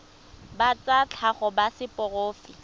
ba tsa tlhago ba seporofe